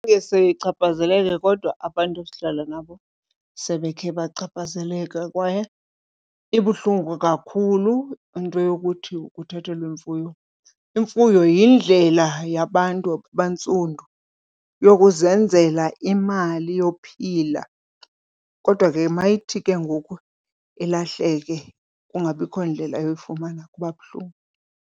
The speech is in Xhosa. sichaphazeleke kodwa abantu esihlala nabo sebekhe bachaphazeleka kwaye ibuhlungu kakhulu into yokuthi uthathelwe imfuyo. Imfuyo yindlela yabantu abantsundu yokuzenzela imali yophila kodwa ke mayithi ke ngoku ilahleke kungabikho ndlela yoyifumana kuba buhlungu.